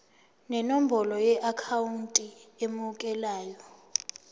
nenombolo yeakhawunti emukelayo